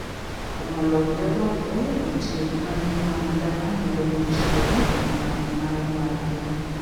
Umo lowo gi oboke gi tiyo kod manure madala medo ngich lowo gi mak mare mar pii.